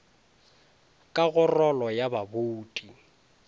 ka go rolo ya babouti